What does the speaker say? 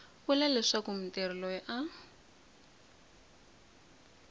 vula leswaku mutirhi loyi a